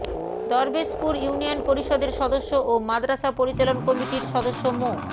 Darbeshpur union পরিষদের সদস্য ও মাদরাসা পরিচালনা কমিটির সদস্য মো